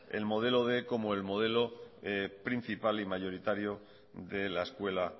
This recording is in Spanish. el modelo quinientos como el modelo principal y mayoritario de la escuela